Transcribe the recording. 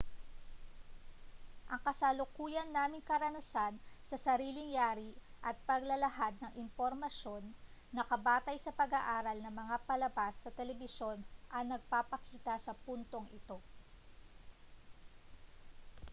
ang kasalukuyan naming karanasan sa sariling-yari at paglalahad ng impormasyon nakabatay sa pag-aaral na mga palabas sa telebisyon ang nagpapakita sa puntong ito